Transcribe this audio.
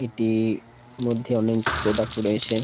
এটি মধ্যে অনেক প্রোডাক্ট রয়েছে ।